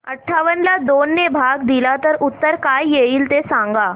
अठावन्न ला दोन ने भाग दिला तर उत्तर काय येईल ते सांगा